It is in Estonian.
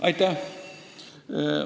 Aitäh!